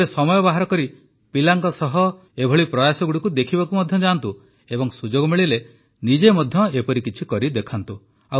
କେବେ ସମୟ ବାହାର କରି ପିଲାଙ୍କ ସହ ଏପରି ପ୍ରୟାସଗୁଡ଼ିକୁ ଦେଖିବାକୁ ମଧ୍ୟ ଯାଆନ୍ତୁ ଏବଂ ସୁଯୋଗ ମିଳିଲେ ନିଜେ ମଧ୍ୟ ଏପରି କିଛି କରିଦେଖାନ୍ତୁ